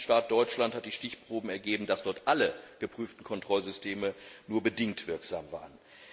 In meinem Mitgliedstaat Deutschland haben die Stichproben ergeben, dass dort alle geprüften Kontrollsysteme nur bedingt wirksam waren.